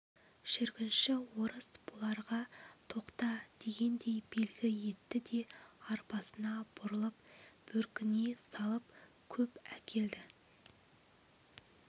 жүргінші орыс бұларға тоқта дегендей белгі етті де арбасына бұрылып бөркіне салып көп әкелді